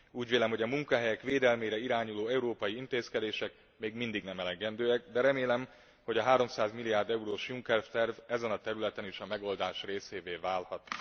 Úgy vélem, hogy a munkahelyek védelmére irányuló európai intézkedések még mindig nem elegendőek, de remélem, hogy a 300 milliárd eurós Juncker terv ezen a területen is a megoldás részévé válhat.